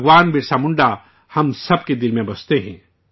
بھگوان برسا منڈا ہم سب کے دلوں میں رہتے ہیں